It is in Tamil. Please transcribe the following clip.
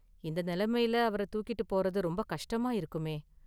இந்த நிலமையில அவர தூக்கிட்டுப் போறது ரொம்ப கஷ்டமா இருக்குமே.